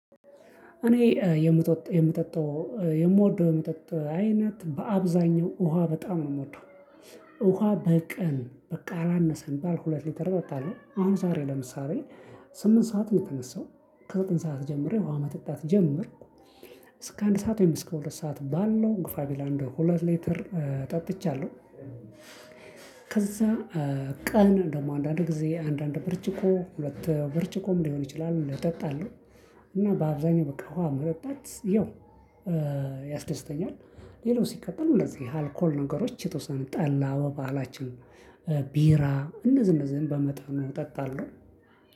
እኔ የምጠጥ የምጠጣው የምወደው የመጠጥ አይነት በአብዛኛው ውሃ በጣም ነው ምወደው። ውሃ በቀን በቃ አላነሰም ቢባል ሁለት ሊተር እጠጣለሁ። አሁን ዛሬ ለምሳሌ ስምንት ሰዓት የተነሳው ከዘጠኝ ሰዓት ጀምሬ ውሃ መጠጣት ጀመርኩ እስከ አንድ ሰዓት ወይም እስከ ሁለት ሰዓት ባለው ግፋ ቢል አንድ ሁለት ሊትር ጠጥቻለሁ። ከዛ ቀን ደግሞ አንዳንድ ጊዜ አንዳንድ ብርጭቆ ሁለት ብርጭቆም ሊሆን ይችላል እጠጣለሁ። እና በአብዛኛው በቃ ውሃ መጠጣት ያው ያስደስተኛል። ሌላው ሲቀጥል እንደዚህ አልኮል ነገሮች የተወሰነ ጠላ በባህላችን ቢራ እነዚህ እነዚህን በመጠኑ እጠጣለሁ።